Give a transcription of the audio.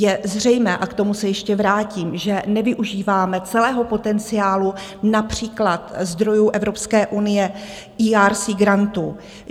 Je zřejmé, a k tomu se ještě vrátím, že nevyužíváme celého potenciálu, například zdrojů Evropské unie ERC grantů.